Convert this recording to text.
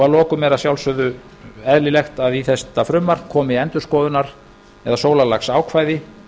lokum er að sjálfsögðu eðlilegt að í þetta frumvarp komi endurskoðunar eða sólarlagsákvæði